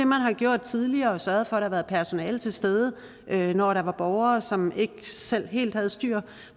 man har gjort tidligere altså sørget for at der var personale til stede når der var borgere som ikke selv helt havde styr